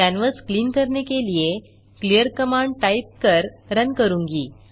canvas clean करने के लिए क्लीयर कमांड टाइप कर रन करूँगा